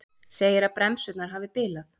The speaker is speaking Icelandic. Segir að bremsurnar hafi bilað